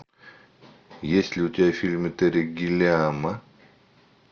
есть ли у тебя фильмы терри гиллиама